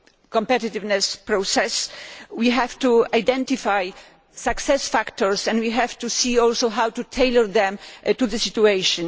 competitiveness process. We have to identify success factors and we also have to see how to tailor them to the situation.